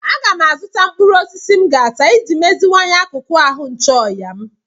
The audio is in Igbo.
Aga m azụta mkpụrụ osisi m ga-ata iji meziwanye akụkụ ahụ ncheorịa m.